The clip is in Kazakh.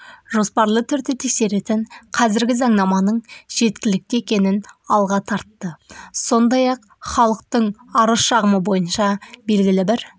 жоспарлы түрде тексеретін қазіргі заңнаманың жеткілікті екенін алға тартты сондай-ақ халықтың арыз-шағымы бойынша белгілі бір